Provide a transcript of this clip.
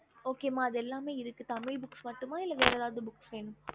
okey ம அது எல்லாமே இருக்கு தமிழ் book மட்டுமே வேற எதாவது வேணும் ம